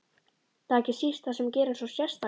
Það er ekki síst það sem gerir hann svo sérstakan.